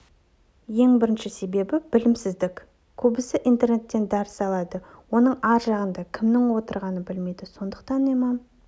ең бірінші себебі білімсіздік көбісі интернеттен дәріс алады оның ар жағында кім отырғанын білмейді сондықтан имам